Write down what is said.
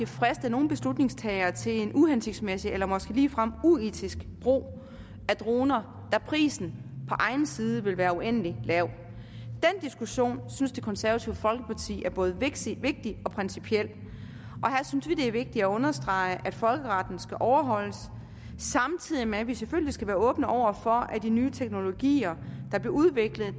friste nogle beslutningstagere til en uhensigtsmæssig eller måske ligefrem uetisk brug af droner da prisen på egen side vil være uendelig lav den diskussion synes det konservative folkeparti er både vigtig og principiel og her synes vi det er vigtigt at understrege at folkeretten skal overholdes samtidig med at vi selvfølgelig skal være åbne over for at de nye teknologier der bliver udviklet